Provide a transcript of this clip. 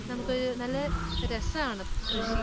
നമുക്ക് നല്ല രസമാണ് കൃഷി.